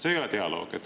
See ei ole dialoog.